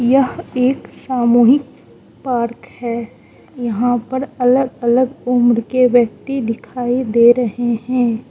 यह एक सामूहिक पार्क है यहां पर अलग अलग उम्र के व्यक्ति दिखाई दे रहे है।